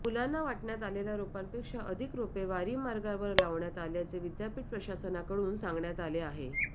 मुलांना वाटण्यात आलेल्या राेपांपेक्षा अधिक राेपे वारी मार्गावर लावण्यात आल्याचे विद्यापीठ प्रशासनाकडून सांगण्यात आले आहे